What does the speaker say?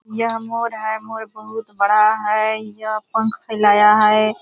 यह मोर है मोर बहुत बड़ा है यह पंख फैलाया है ।